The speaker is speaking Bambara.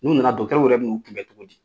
N'u nana dɔgɔtɔrɔw yɛrɛ bina u kun bɛ cogo di